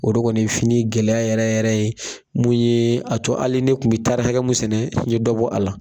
O de kɔni ye fini gɛlɛya yɛrɛ yɛrɛ ye mun ye a to ali ne kun bi hakɛ mun sɛnɛ n ye dɔ bɔ a la.